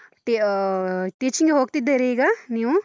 ಆಹ್ teaching ಗೆ ಹೋಗ್ತಿದ್ದೀರಾ ಈಗ, ನೀವು?